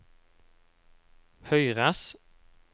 høyres